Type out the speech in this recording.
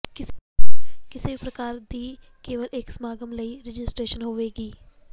ਕਿਸੇ ਵੀ ਪੱਤਰਕਾਰ ਦੀ ਕੇਵਲ ਇੱਕ ਸਮਾਗਮ ਲਈ ਰਜਿਸਟ੍ਰੇਸ਼ਨ ਹੋਵੇਗੀ